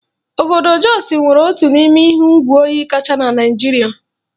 Obodo Jos nwere otu n'ime ihu igwe oyi kacha na Naịjirịa.